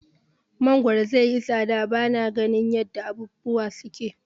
Mangoro zaiyi tsada bana ganin yadda abubuwa suke.